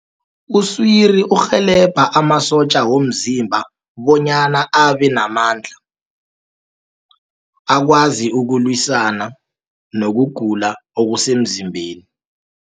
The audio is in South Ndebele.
Uswiri urhelebha amasotja womzimba, bonyana abenamandla akwazi ukulwisana nobugula obusemzimbeni.